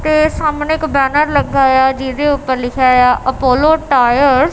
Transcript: ਤੇ ਸਾਹਮਣੇ ਇੱਕ ਬੈਨਰ ਲੱਗਾ ਆ ਜਿਹਦੇ ਊਪਰ ਲਿਖੇਆ ਆ ਅਪੋਲੋ ਟਾਇਰਸ ।